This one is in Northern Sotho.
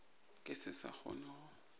ke se sa kgona go